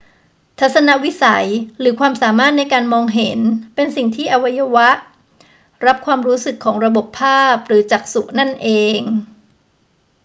ทัศนวิสัย หรือความสามารถในการมองเห็นเป็นสิ่งที่อาศัยอวัยวะรับความรู้สึกของระบบภาพหรือจักษุนั่นเอง